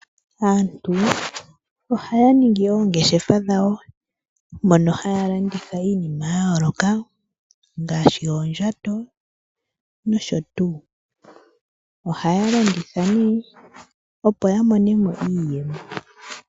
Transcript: Aantu ohaya ningi oongeshefa dhawo mono haya landitha iinima ya yooloka ngaashi oondjato nosho tuu. Ohaya landitha nee opo ya mone mo iiyemo.